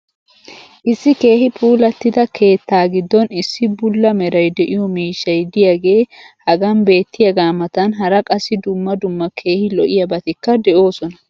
issi keehi puulattida keettaa giddon issi bula meray de'iyo miishshay diyaagee hagan beetiyaagaa matan hara qassi dumma dumma keehi lo'iyaabatikka de'oosona.